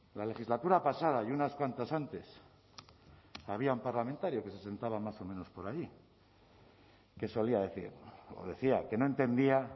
la legislatura pasada y unas cuantas antes había un parlamentario que se sentaba más o menos por allí que solía decir o decía que no entendía